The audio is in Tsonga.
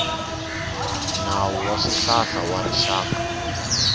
nawu wa swihlahla wa rixaka